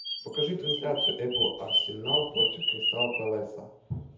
покажи трансляцию апл арсенал против кристал пэласа